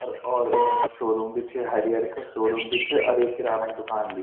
अर और शोरूम भी च हायर का शोरूम भी च अर एक किराना की दूकान भी।